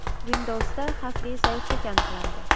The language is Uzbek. Windows’da xavfli zaiflik aniqlandi.